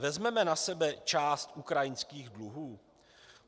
Vezmeme na sebe část ukrajinských dluhů?